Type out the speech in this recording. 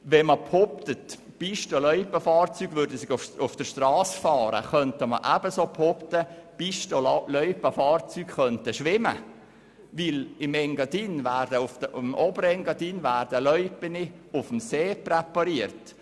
Wenn man behauptet, Pisten- und Loipenfahrzeuge würden auf der Strasse fahren, könnte man ebensogut behaupten, Pisten- und Loipenfahrzeuge könnten schwimmen, denn im Oberengadin werden Loipen auf dem See präpariert.